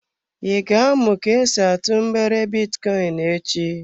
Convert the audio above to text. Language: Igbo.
I ga-amụ ka esi atụ mgbere bitcoin echi?